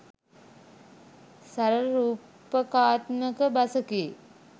සරල රූපකාත්මක බසකි